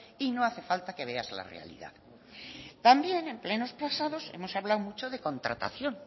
y no hace falta que veas la realidad también en plenos pasados hemos hablado mucho de contratación